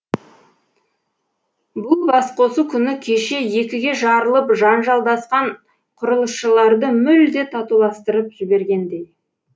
бұл бас қосу күні кеше екіге жарылып жанжалдасқан құрылысшыларды мүлде татуластырып жібергендей